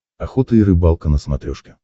охота и рыбалка на смотрешке